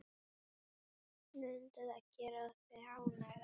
Mundi það gera þig ánægða?